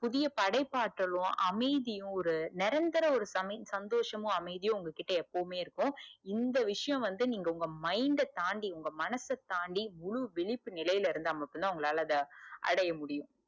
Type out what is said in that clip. புதிய படைப்பாற்றலு அமைதியும் ஒரு நிரந்தர சமி சந்தோசமும் அமைதியும் உங்ககிட்ட எப்போமே இருக்கும் இந்த விஷயம் வந்து உங்க mind ட தாண்டி உங்க மனச தாண்டி முழு விழிப்பு நிலைல இருந்தா மட்டும்தா உங்களால அத அடைய முடுயும்.